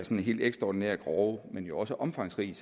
helt ekstraordinært grove men jo også omfangsrige